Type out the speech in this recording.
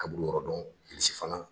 Kaburu yɔrɔ dɔn Bikisi fana